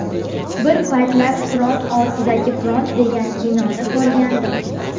Bir paytlar ‘Front ortidagi front’ degan kinoni ko‘rgandim.